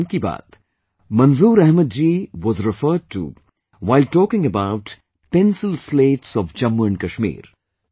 In 'Mann Ki Baat', Manzoor Ahmed ji was referred to while talking about Pencil Slates of Jammu and Kashmir